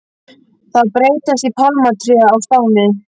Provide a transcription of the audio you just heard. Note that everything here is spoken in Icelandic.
Það breytist í pálmatré á Spáni.